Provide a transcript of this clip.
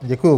Děkuji.